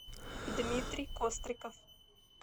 дмитрий костриков